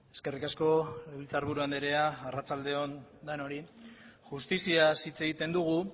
eskerrik asko legebiltzarburu andrea arratsalde on denoi justiziaz hitz egiten dugu